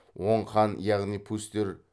оң хан яғни пустер